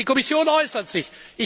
Die Kommission äußert sich.